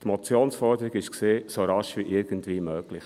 – Die Motionsforderung war: «so rasch wie irgendwie möglich».